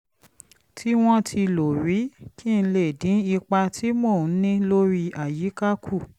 tí wọ́n ti lò rí kí n lè dín ipa tí mò ń ní lórí àyíká kù